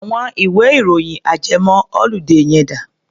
Àwọn ìwé-ìròyìn ajẹmọ-oludé yẹn dà?